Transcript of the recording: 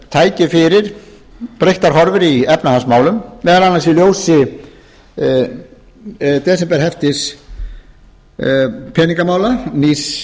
tæki fyrir breyttar horfur í efnahagsmálum meðal annars í ljósi desemberhefti peningamála nýs